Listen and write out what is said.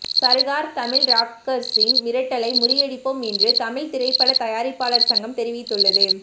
சர்கார் தமிழ் ராக்கர்ஸின் மிரட்டலை முறியடிப்போம் என்று தமிழ்த்திரைப்படத் தயாரிப்பாளர்கள் சங்கம் தெரிவித்துள்ளது